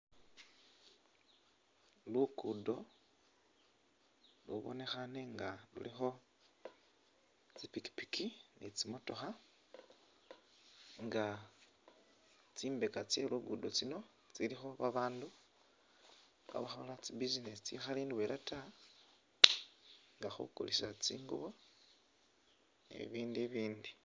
Lukudo ulu bonekhaane nga lulikho tsipikipiki ne tsi motokha nga tsimbeka tse lugudo uluno tsilikho babandu khabakhola tsi business itsikhali indwela ta nga khukulisa tsingubo ne bibindu bibindu